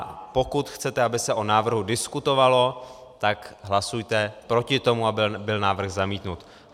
A pokud chcete, aby se o návrhu diskutovalo, tak hlasujte proti tomu, aby byl návrh zamítnut.